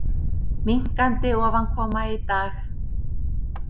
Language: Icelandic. Minnkandi ofankoma í dag